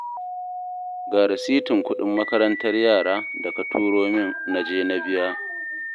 Ga rasitin kuɗin makarantar yara da ka turo min na je na biya